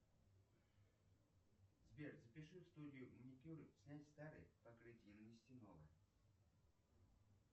сбер запиши в студию маникюра снять старое покрытие и нанести новое